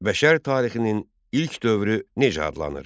Bəşər tarixinin ilk dövrü necə adlanır?